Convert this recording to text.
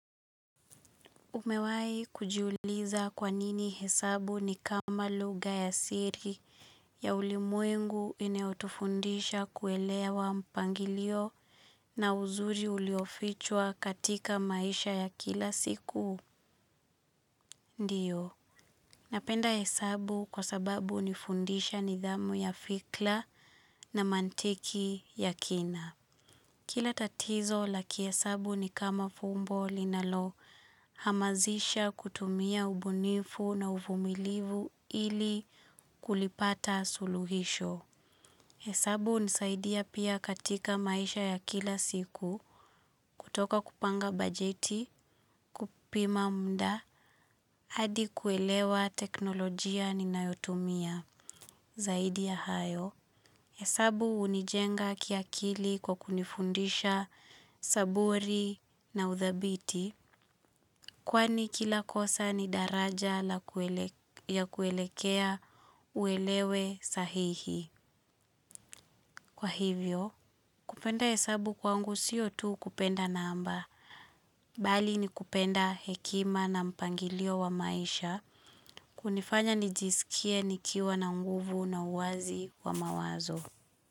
Umewai kujiuliza kwanini hesabu ni kama lugha ya siri ya ulimwengu inayotufundisha kuelewa mpangilio na uzuri uliofichwa katika maisha ya kila siku? Ndio. Napenda hesabu kwa sababu hunifundisha nidhamu ya fikla na mantiki ya kina. Kila tatizo la kihesabu nikama fumbo linalo hamasisha kutumia ubunifu na uvumilivu ili kulipata suluhisho. Hesabu unisaidia pia katika maisha ya kila siku kutoka kupanga bajeti, kupima mda, hadi kuelewa teknolojia ninayotumia. Zaidi ya hayo, hesabu unijenga kia kili kwa kunifundisha saburi na uthabiti, kwani kila kosa ni daraja ya kuelekea uelewe sahihi. Kwa hivyo, kupenda hesabu kwangu siyo tu kupenda namba. Bali ni kupenda hekima na mpangilio wa maisha, kunifanya nijisikie nikiwa na mguvu na uwazi wa mawazo.